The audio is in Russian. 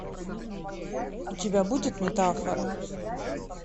у тебя будет метафора